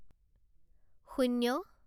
শূন্য